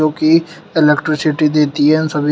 की इलेक्ट्रिसिटी देती है सभी--